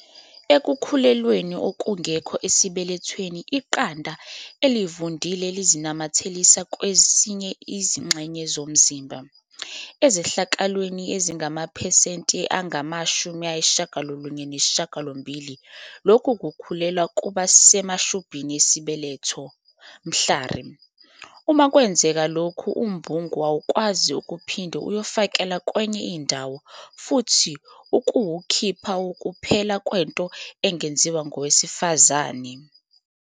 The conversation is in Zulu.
"Ekukhulelweni okungekho esibelethweni, iqanda elivundile lizinamathelisa kwezinye izingxenye zomzimba. Ezehlakalweni ezingamaphesenti angama-98, lokhu kukhulelwa kuba semashubhini esibeletho. Mhlari. Uma kwenzeka lokhu, umbungu awukwazi ukuphinde uyofakelwa kwenye indawo futhi ukuwukhipha wukuphela kwento engenziwa ngowesifazane."